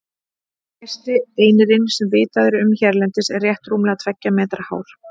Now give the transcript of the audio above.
Hæsti einirinn sem vitað er um hérlendis er rétt rúmlega tveggja metra hár.